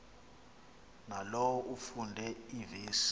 nalowo afunde iivesi